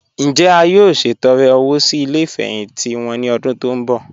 Njẹ́ à yóò ṣetọ̀rẹ̀ owó sí ilẹ̀ ìfẹhintì wọn ni ọ̀dún tó n bọ?